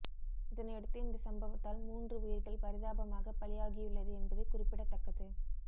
இதனையடுத்து இந்த சம்பவத்தால் மூன்று உயிர்கள் பரிதாபமாக பலியாகியுள்ளது என்பது குறிப்பிடத்தக்கது